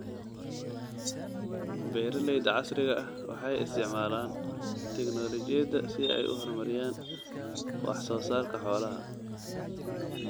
Beeralayda casriga ah waxay isticmaalaan tignoolajiyada si ay u horumariyaan wax soo saarka xoolaha.